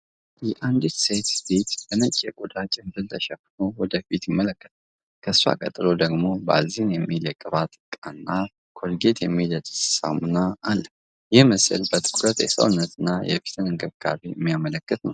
የአንዲት ሴት ፊት በነጭ የቆዳ ጭንብል ተሸፍኖ ወደ ፊት ይመለከታል። ከእሷ ቀጥሎ ደግሞ ባልዚን የሚል የቅባት እቃና ኮልጌት የሚል የጥርስ ሳሙና አለ። ይህ ምስል በትኩረት የሰውነትና የፊት እንክብካቤን የሚያመለክት ነው።